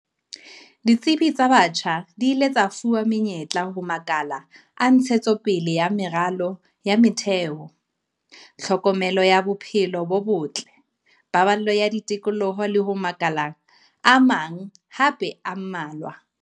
Ditsebi tsa batjha di ile tsa fuwa menyetla ho makala a ntshetsopele ya meralo ya metheo, tlhokomelo ya bophelo bo botle, paballo ya tikoloho le ho makala a mang hape a mmalwa.